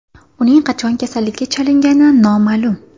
Uning qachon kasallikka chalingani noma’lum.